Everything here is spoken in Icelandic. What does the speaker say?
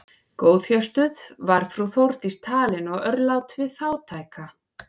Góðhjörtuð var frú Þórdís talin og örlát við fátæka.